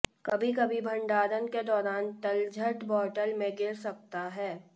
कभी कभी भंडारण के दौरान तलछट बोतल में गिर सकता है